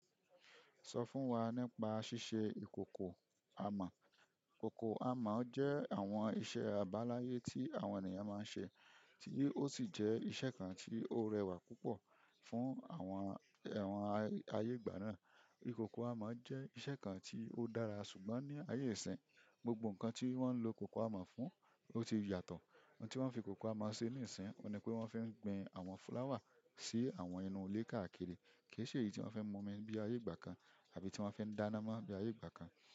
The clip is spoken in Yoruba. Sọ fún wa nípa ṣíṣe ìkòkò amọ̀. Ìkòkò amọ̀ jẹ́ àwọn iṣẹ́ àbáláyé tí àwọn ènìyàn máa ń ṣe, tí ó sì jẹ́ iṣẹ́ kan tí ó rẹwà púpọ̀ fún àwọn ẹyan ayé ìgbà náà. Ìkòkò amọ̀ jẹ́ iṣẹ́ kan tí ó dára, ṣùgbọ́n ní ayé ìsín, gbogbo nǹkan tí wọ́n ń lo kòkò amọ̀ fún ó ti yàtọ̀. Ohun tí wọ́n fi kòkò amọ̀ ṣe ní ìsín, ọ́un ní pé wọ́n fi ń gbin àwọn fúláwà sí àwọn inú ilé káàkiri, kì í ṣe èyí tí wọ́n fi ń mọ̀ ọ́n bí i ayé ìgbà kan àbí tí wọ́n fi ń dáná mọ́ ní i ayé ìgbà kan.